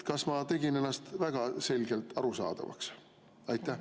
Kas ma tegin ennast väga selgelt arusaadavaks?